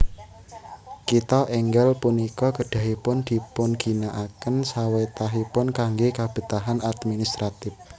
Kitha enggal punika kedahipun dipunginakaken sawetahipun kangge kabetahan administratif